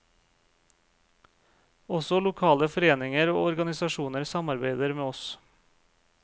Også lokale foreninger og organisasjoner samarbeider med oss.